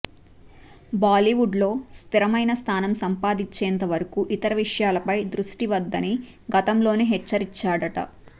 బాలీవుడ్లో స్థిరమైన స్థానం సంపాదించేంత వరకు ఇతర విషయాలపై దృష్టిపెట్టవద్దని గతంలోనే హెచ్చరించాడట